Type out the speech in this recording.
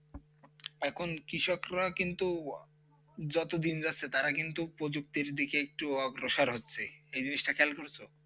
এখন কৃষকরা কিন্তু যতদিন যাচ্ছে তারা কিন্তু উপযুক্ত দিকে একটু অগ্রসর হচ্ছে এই জিনিসটা খেয়াল করেছো.